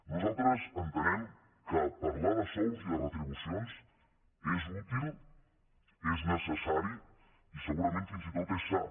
nosaltres entenem que parlar de sous i de retribucions és útil és necessari i segurament fins i tot és sa